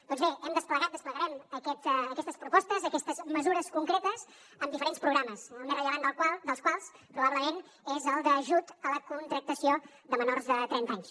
doncs bé hem desplegat desplegarem aquestes propostes aquestes mesures concretes amb diferents programes el més rellevant dels quals probablement és el d’ajut a la contractació de menors de trenta anys